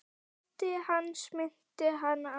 Ótti hans minnti hana á